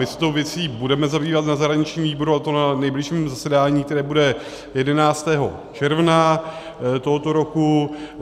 My se tou věcí budeme zabývat na zahraničním výboru, a to na nejbližším zasedání, které bude 11. června tohoto roku.